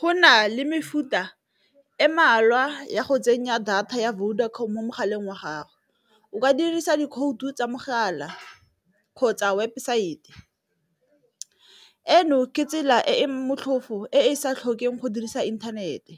Go na le mefuta e mmalwa ya go tsenya data ya Vodacom mo mogaleng wa gago, o ka dirisa dikhoutu tsa mogala kgotsa webosaete, eno ke tsela e e motlhofo e e sa tlhokeng go dirisa inthanete